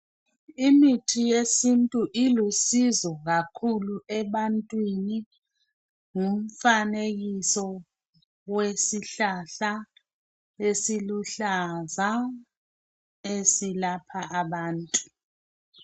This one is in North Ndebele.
Imithi yesintu ilusizo kakhulu ebantwini ngumfanekiso wesihlahla esiluhlaza ezilapha abantu.